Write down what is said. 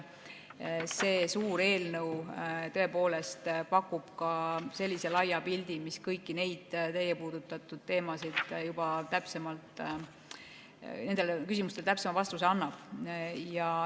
See suur eelnõu tõepoolest pakub ka sellise laia pildi, mis kõikidele teie nendele küsimustele täpsema vastuse annab.